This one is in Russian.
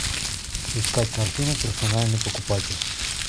искать картины персональный покупатель